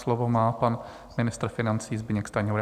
Slovo má pan ministr financí Zbyněk Stanjura.